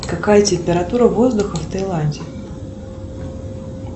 какая температура воздуха в тайланде